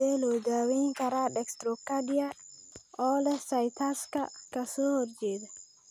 Sidee loo daweyn karaa dextrocardia oo leh situs ka soo horjeeda?